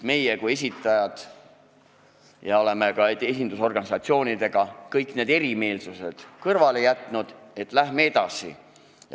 Meie kui esitajad oleme samuti jätnud kõrvale kõik erimeelsused esindusorganisatsioonidega ja öelnud, et läheme edasi.